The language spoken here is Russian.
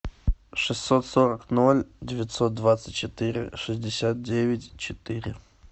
шестьсот сорок ноль девятьсот двадцать четыре шестьдесят девять четыре